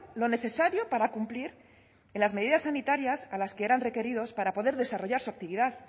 lo necesario para cumplir que las medidas sanitarias a las que eran requeridos para poder desarrollar su actividad